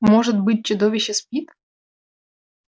может быть чудовище спит